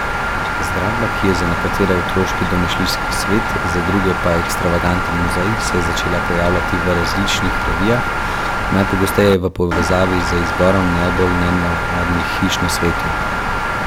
Zgradba, ki je za nekatere otroški domišljijski svet, za druge pa ekstravaganten muzej, se je začela pojavljati v različnih revijah, najpogosteje v povezavi z izborom najbolj nenavadnih hiš na svetu.